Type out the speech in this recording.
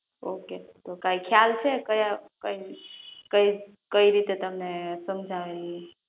Okay તો કે ખ્યાલ છે કયા કઈ રીતે તમને સમજાવે ઈ?